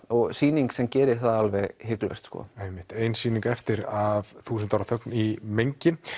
og sýning sem gerir það alveg hiklaust einmitt ein sýning eftir af þúsund ára þögn í mengi